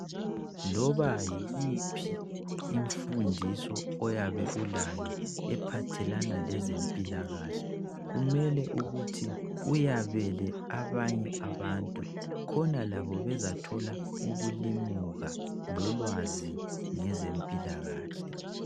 Loba yiphi imfundiso oyabe ulayo ephathelana lezempilakahle kumele ukuthi uyabele abanye abantu khona labo bezathola ukulimuka lolwazi ngezempilakahle.